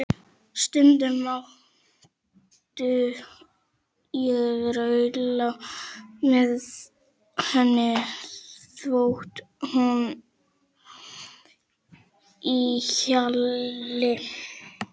Stundum mátti ég rulla með henni þvott úti í hjalli.